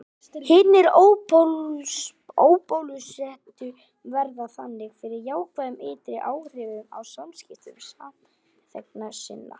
Hinir óbólusettu verða þannig fyrir jákvæðum ytri áhrifum af samskiptum samþegna sinna.